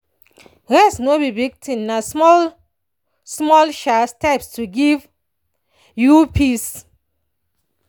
rest no be big thing—na small-small um steps go give you peace.